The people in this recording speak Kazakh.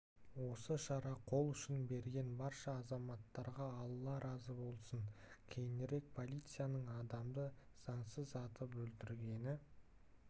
осы шара қол ұшын берген барша азаматтарға алла разы болсын кейінірек полицияның адамды заңсыз атып өлтіргені